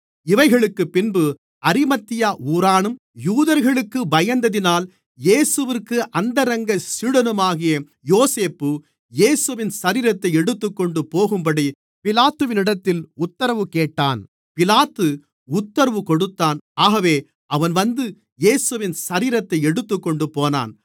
இவைகளுக்குப் பின்பு அரிமத்தியா ஊரானும் யூதர்களுக்குப் பயந்ததினால் இயேசுவிற்கு அந்தரங்க சீடனுமாகிய யோசேப்பு இயேசுவின் சரீரத்தை எடுத்துக்கொண்டு போகும்படி பிலாத்துவினிடத்தில் உத்தரவு கேட்டான் பிலாத்து உத்தரவு கொடுத்தான் ஆகவே அவன் வந்து இயேசுவின் சரீரத்தை எடுத்துக்கொண்டு போனான்